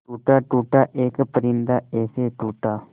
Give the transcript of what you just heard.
टूटा टूटा एक परिंदा ऐसे टूटा